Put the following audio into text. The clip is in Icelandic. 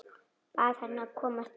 Bað hana að koma strax.